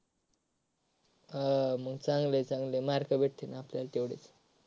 हा मग चांगलय चांगलय mark भेटतील आपल्याला तेवढेच.